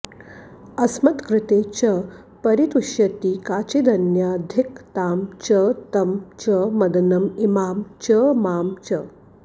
अस्मत्कृते च परितुष्यति काचिदन्या धिक् तां च तं च मदनं इमां च मां च